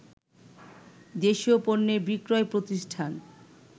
দেশীয় পণ্যের বিক্রয় প্রতিষ্ঠান